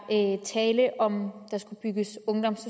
tale om der skulle bygges ungdoms